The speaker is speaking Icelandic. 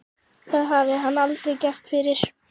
Það hafði hann aldrei gert fyrr.